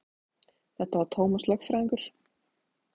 Þetta var Tómas lögfræðingur.